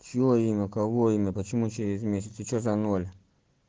чьё имя кого имя почему через месяц и что за ноль